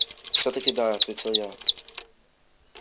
всё-таки да ответил я